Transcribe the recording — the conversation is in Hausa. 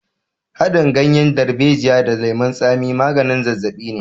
Haɗin ganyen darbejiya da lemon tsami maganin zazzaɓi ne.